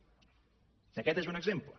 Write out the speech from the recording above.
aquest n’és un exemple